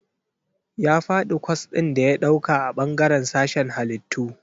Ya faɗi kwas ɗin da ya ɗauka a bangaren sashen Hallitu..